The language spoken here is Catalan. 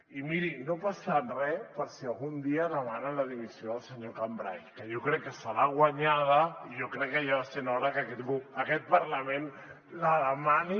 i miri no passa re si algun dia demanen la dimissió del senyor cambray que jo crec que se l’ha guanyada i jo crec que ja va sent hora que aquest parlament la demani